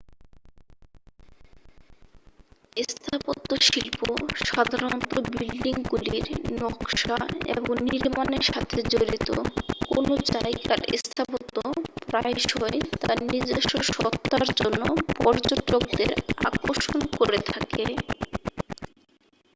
স্থাপত্যশিল্প সাধারণত বিল্ডিংগুলির নকশা এবং নির্মাণের সাথে জড়িত কোনও জায়গার স্থাপত্য প্রায়শই তার নিজস্ব সত্তার জন্য পর্যটকদের আকর্ষণকরে থাকে